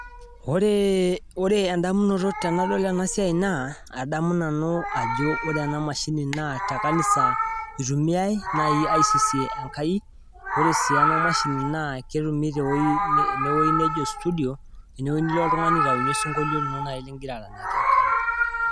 Ore ,oree indamunoto tenadol ena siai naa adamu nanu ajo ore ena imashini naa te nkanisa eitumiyai naii aisisie enkai. Ore aii ena imashini naa ketumi teweji nejo isutudio, teweji nilo iltungani aitunye osunkolio lino nai ligira aisisie enkai.